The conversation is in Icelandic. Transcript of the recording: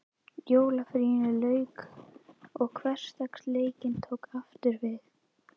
Jólafríinu lauk og hversdagsleikinn tók aftur við.